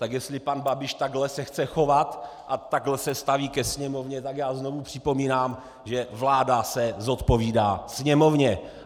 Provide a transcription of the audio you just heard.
Tak jestli pan Babiš takhle se chce chovat a takhle se staví ke Sněmovně, tak já znovu připomínám, že vláda se zodpovídá Sněmovně!